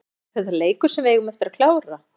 Er þetta leikur sem við eigum að klára?